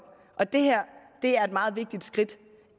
og det her er et meget vigtigt skridt